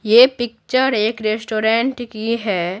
ये पिक्चर एक रेस्टोरेंट की है।